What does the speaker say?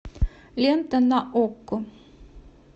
лента на окко